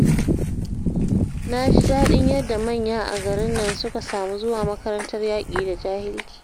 Na ji daɗin yadda manya a garin nan suka samu zuwa makarantar yaƙi da jahilci